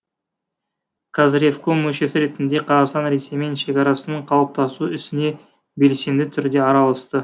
қазревком мүшесі ретінде қазақстан ресеймен шекарасының қалыптасу ісіне белсенді түрде араласты